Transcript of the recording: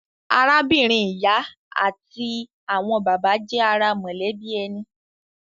Arábìnrin ìyá àti àwọn bàbá jẹ́ ara mọ̀lẹ́bí ẹni.